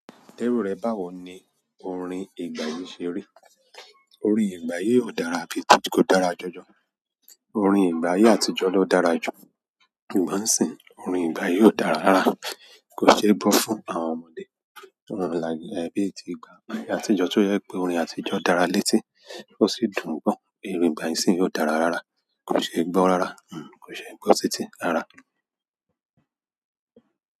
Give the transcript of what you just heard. Tẹ́rù rẹ̀ báwo ni òrin ìgbà yìí ṣe rí? Orin ìgbà yìí ò dára bíi tí kò dára jọ́jọ́. Orin ìgbà ayé àtijọ́ ló dára jù. Ṣùgbọ́n ń sìn ín, orin ìgbà yìí ò dára rára. Kò sí ẹni tó sùn tó àwọn ọmọdé ko dabi----bí ti ìgbà kan, atunjọ to jẹ pé orin àtijọ́ dára létí, ó sì dùn gbọ gan-an. Orin ìgbà yìí nísìn ò dára rára, kò ṣé gbọ́ rára. Hmmm kò ṣé gbọ́ sétí ara.